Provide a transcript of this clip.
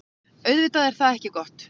Auðvitað er það ekki gott.